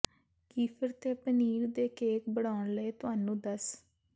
kefir ਤੇ ਪਨੀਰ ਦੇ cake ਬਣਾਉਣ ਲਈ ਤੁਹਾਨੂੰ ਦੱਸ